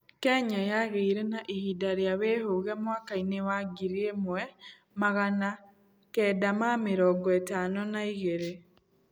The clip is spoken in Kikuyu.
Kenya yagĩĩre na ihinda ria wĩhũge mwakainĩ wa ngiri ĩmwe maggana kenya ma mĩrongo ĩtano na igĩrĩ